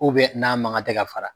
n'a man kan tɛ ka fara.